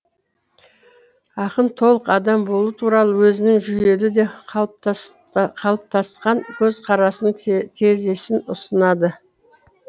ақын толық адам болу туралы өзінің жүйелі де қалыптасқан көзқарасының тезисін ұсынады